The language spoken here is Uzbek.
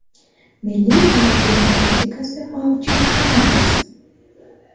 Milliy tarbiya metodikasi mavjud emas.